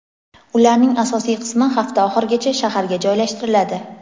Ularning asosiy qismi hafta oxirigacha shaharga joylashtiriladi.